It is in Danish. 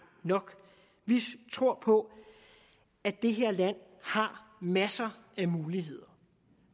nok vi tror på at det her land har masser af muligheder